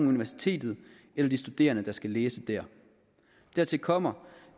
universitetet eller de studerende der skal læse der dertil kommer